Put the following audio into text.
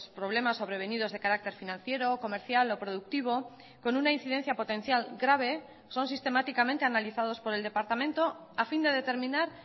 problemas sobrevenidos de carácter financiero comercial o productivo con una incidencia potencial grave son sistemáticamente analizados por el departamento a fin de determinar